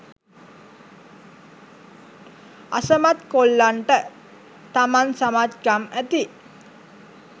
අසමත් කොල්ලන්ට තමන් සමත්කම් ඇති